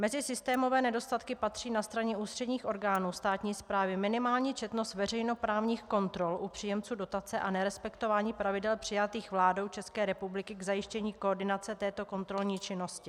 Mezi systémové nedostatky patří na straně ústředních orgánů státní správy minimální četnost veřejnoprávních kontrol u příjemců dotace a nerespektování pravidel přijatých vládou České republiky k zajištění koordinace této kontrolní činnosti.